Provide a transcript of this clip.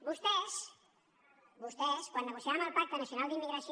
vostès vostès quan negociàvem el pacte nacional d’immigració